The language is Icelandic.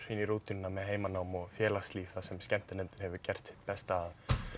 í rútínuna með heimanám og félagslíf þar sem skemmtinefndin hefur gert besta að